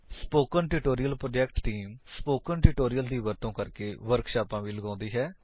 spoken tutorial project team spoken tutorial ਦੀ ਵਰਤੋ ਕਰਕੇ ਵਰਕਸ਼ਾਪਾਂ ਵੀ ਲਗੋਉਂਦੀ ਹੈ